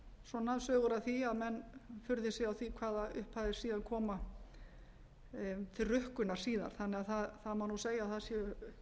af því að menn furði sig á því hvaða upphæðir séu að koma til rukkunar síðar þannig að það má nú segja að það séu